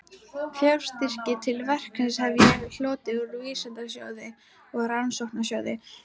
Fjárstyrki til verksins hef ég hlotið úr Vísindasjóði og Rannsóknarsjóði